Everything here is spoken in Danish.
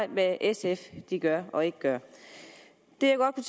hvad sf gør og ikke gør det